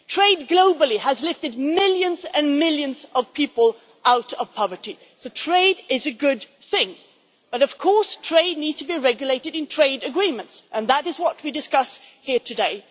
Trade globally has lifted millions and millions of people out of poverty, so trade is a good thing, but of course trade needs to be regulated in trade agreements and that is what we are discussing here today.